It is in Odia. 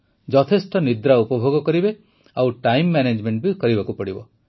ଯଥେଷ୍ଟ ନିଦ୍ରା ଉପଭୋଗ କରିବେ ଆଉ ଟାଇମ ମ୍ୟାନେଜମେଂଟ ବି କରିବାକୁ ପଡ଼ିବ